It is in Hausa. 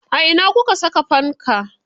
A ina kuka saka fanka.